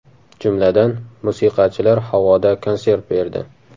Jumladan, musiqachilar havoda konsert berdi.